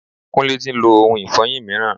Kúnlé tí ń lo ohun ifọyin mìíràn.